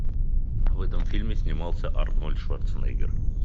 в этом фильме снимался арнольд шварценеггер